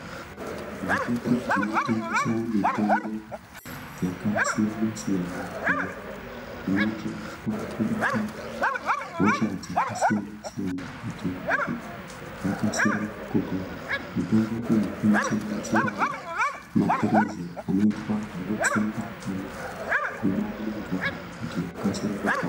Zvitoro zvinotengesa mitombo yakasiyana siyana iyo inoshandiswa kurapa hosha dzakasiyana siyana kuti vantu vakasire kupona. Mitombo iyi inosanganisira maphirizi anoitwa zvekutsengwa kana kumwa nemvura kuti ukasike kupora.